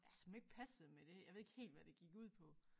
Ja som ikke passede med det jeg ved ikke helt hvad det gik ud på